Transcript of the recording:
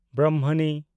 Brahmani